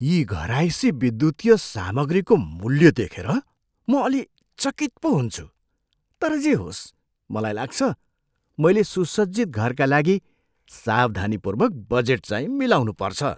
यी घरायसी विद्युतीय सामग्रीको मूल्य देखेर म अलि चकित पो हुन्छु, तर जे होस् मलाई लाग्छ मैले सुसज्जित घरका लागि सावधानीपूर्वक बजेटचाहिँ मिलाउनुपर्छ।